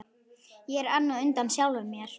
Ég er enn á undan sjálfum mér.